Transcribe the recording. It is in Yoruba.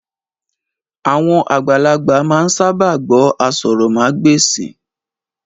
Àwọn àgbàlagbà máa ń sábà gbó aṣórómagbesìn